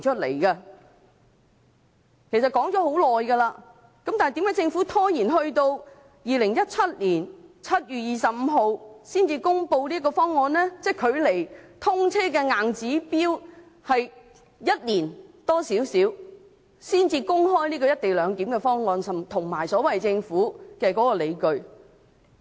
為何政府拖延至2017年7月25日才公布"一地兩檢"的方案？即距離通車的硬指標只有1年多，才公開"一地兩檢"的方案，以及政府的所謂理據。